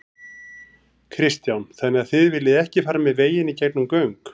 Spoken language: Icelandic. Kristján: Þannig þið viljið ekki fara með veginn í gegnum göng?